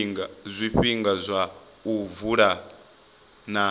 zwifhinga zwa u vula na